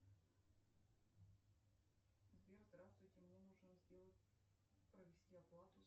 сбер здравствуйте мне нужно сделать провести оплату